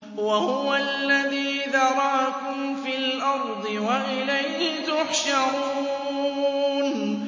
وَهُوَ الَّذِي ذَرَأَكُمْ فِي الْأَرْضِ وَإِلَيْهِ تُحْشَرُونَ